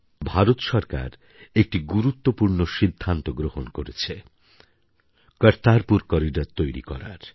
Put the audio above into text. ভারত সরকার একটি গুরুত্বপূর্ণ সিদ্ধান্ত গ্রহণ করেছে কর্তারপুর করিডর তৈরি করার